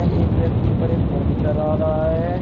एक व्यक्ति पर ये फोन चला रहा है।